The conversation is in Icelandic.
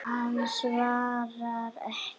Hann svaraði ekki.